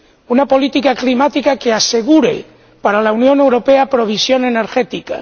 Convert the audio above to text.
Una política climática que asegure para la Unión Europea provisión energética.